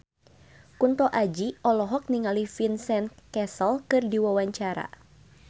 Kunto Aji olohok ningali Vincent Cassel keur diwawancara